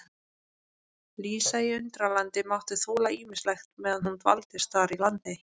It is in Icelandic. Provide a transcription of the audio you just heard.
Lísa í Undralandi mátti þola ýmislegt meðan hún dvaldist þar í landi.